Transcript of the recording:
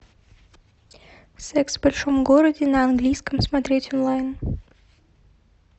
секс в большом городе на английском смотреть онлайн